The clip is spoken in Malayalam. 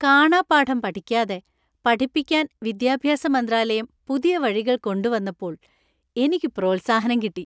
കാണാപ്പാഠം പഠിക്കാതെ പഠിപ്പിക്കാൻ വിദ്യാഭ്യാസ മന്ത്രാലയം പുതിയ വഴികൾ കൊണ്ടുവന്നപ്പോൾ എനിക്ക് പ്രോത്സാഹനം കിട്ടി .